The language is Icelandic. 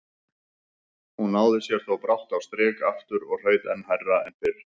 Hún náði sér þó brátt á strik aftur og hraut enn hærra en fyrr.